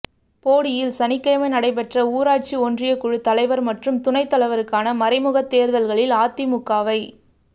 போடியில் சனிக்கிழமை நடைபெற்ற ஊராட்சி ஒன்றியக்குழு தலைவா் மற்றும் துணைத்தலைவருக்கான மறைமுகத் தோ்தல்களில் அதிமுகவை